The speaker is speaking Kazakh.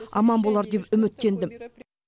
аман болар деп үміттендім